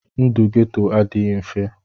Ndụ Geto adịghị mfe.